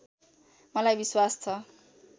मलाई विश्वास छ